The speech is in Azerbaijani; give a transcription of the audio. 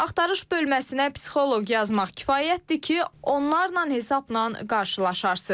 Axtarış bölməsinə psixoloq yazmaq kifayətdir ki, onlarla hesabnan qarşılaşarsınız.